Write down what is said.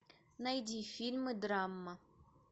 найди фильмы драма